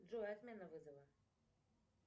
джой отмена вызова